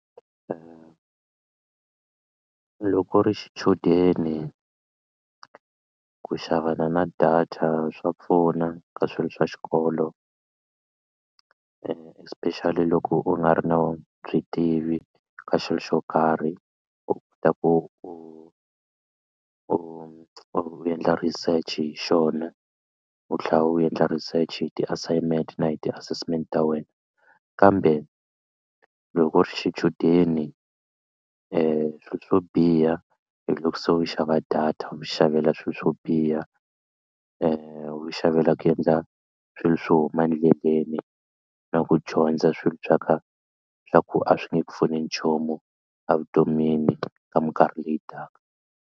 Loko u ri xichudeni ku xavana na data swa pfuna ka swilo swa xikolo especially loko u nga ri na u byi tivi ka xilo xo karhi u kota ku u u u endla research hi xona u tlhela u endla research hi ti-assignment na hi ti-assessment ta wena kambe loko u ri xichudeni swilo swo biha hi loko se u xava data u xavela swilo swo biha u xavela ku endla swilo swo huma endleleni na ku dyondza swilo swa ka swa ku a swi nge pfuni nchumu evutomini ka mikarhi leyi taka.